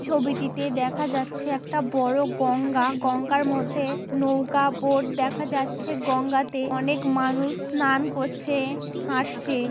এই ছবিটিতে দেখা যাচ্ছে একটা বড়ো গঙ্গা। গঙ্গার মধ্যে নৌকা বোট দেখা যাচ্ছে গঙ্গাতে অনেক মানুষ স্নান করছে হাঁটছে ।